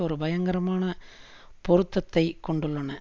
ஒரு பயங்கரமான பொருத்தத்தை கொண்டுள்ளன